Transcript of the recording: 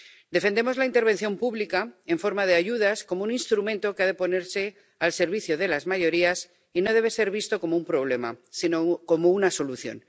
Defendemos la intervención pública en forma de ayudas como un instrumento que ha de ponerse al servicio de las mayorías y no debe ser visto como un problema, sino como una solución.